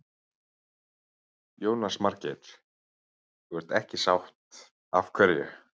Jónas Margeir: Þú ert ekki sátt, af hverju?